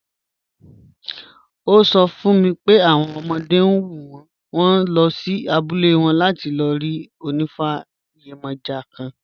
Ó sọ fún mi pé àwọn ọmọdé ń wù wọ́n, wọ́n lọ sí abúlé wọn láti lọ rí onifa yemoja kan.